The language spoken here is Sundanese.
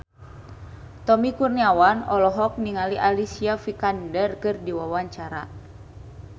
Tommy Kurniawan olohok ningali Alicia Vikander keur diwawancara